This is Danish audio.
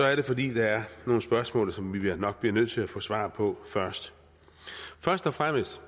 er det fordi der er nogle spørgsmål som vi nok bliver nødt til at få svar på først først og fremmest